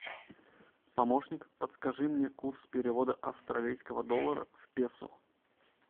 помощник подскажи мне курс перевода австралийского доллара в песо